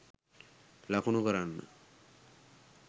ලකුණු කරන්න.